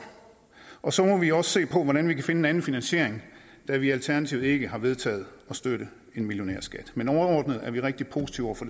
og så må vi også se på hvordan vi kan finde en anden finansiering da vi i alternativet ikke har vedtaget at støtte en millionærskat men overordnet er vi rigtig positive over for